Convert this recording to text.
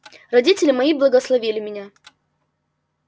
родители мои благословили меня